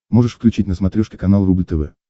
можешь включить на смотрешке канал рубль тв